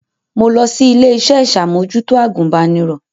Mo lọ sí ilé-iṣẹ́ iṣàmòjútó agùnbánirọ̀